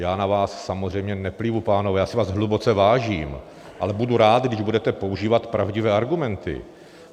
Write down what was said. Já na vás samozřejmě neplivu, pánové, já si vás hluboce vážím, ale budu rád, když budete používat pravdivé argumenty.